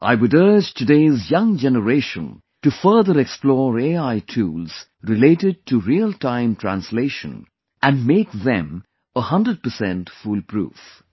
I would urge today's young generation to further explore AI tools related to Real Time Translation and make them 100% fool proof